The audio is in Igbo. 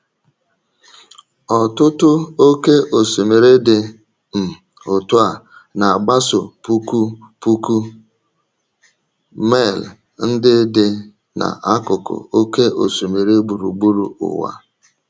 Ọtụtụ oke osimiri dị um otú a na-agbaso puku puku mail ndị dị n’akụkụ oke osimiri gburugburu ụwa.